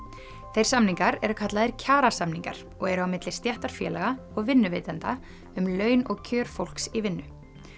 þeir samningar eru kallaðir kjarasamningar og eru á milli stéttarfélaga og vinnuveitenda um laun og kjör fólks í vinnu